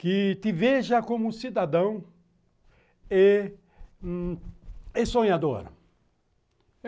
que te veja como um cidadão é sonhador.